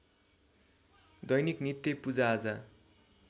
दैनिक नित्य पूजाआजा